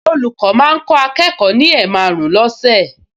Olùkọ́ máa ń kọ́ akẹ́kọ̀ọ ní ẹ̀maàrún lọ́sẹ̀